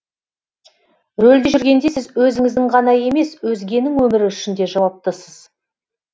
рөлде жүргенде сіз өзіңіздің ғана емес өзгенің өмірі үшін де жауаптысыз